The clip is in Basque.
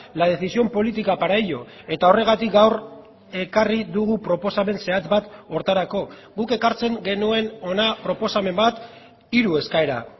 la decisión política para ello eta horregatik gaur ekarri dugu proposamen zehatz bat horretarako guk ekartzen genuen hona proposamen bat hiru eskaera